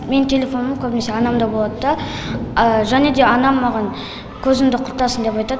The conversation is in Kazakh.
менің телефоным көбінесе анамда болады да және де анам маған көзіңді құртасың деп айтады